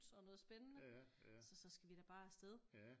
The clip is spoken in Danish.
Og noget spændende så så skal vi da bare afsted